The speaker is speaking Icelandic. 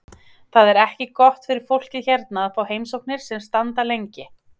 Það er ekki gott fyrir fólkið hérna að fá heimsóknir sem standa lengi.